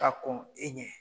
Ka kɔn e ɲɛ.